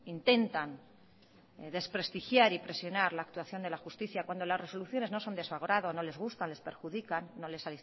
intentan desprestigiar y presionar la actuación de la justicia cuando las resoluciones no son de su agrado no les gustan les perjudican no les